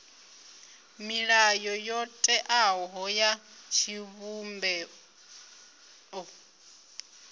milayo yo teaho ya tshivhumbeo